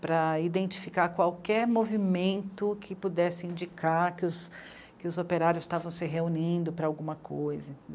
para identificar qualquer movimento que pudesse indicar que os operários estavam se reunindo para alguma coisa.